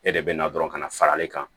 E de bɛ na dɔrɔn ka na fara ne kan